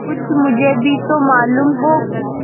कुछ मुझे भी तो मालूम हो